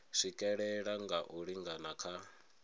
swikelela nga u lingana kha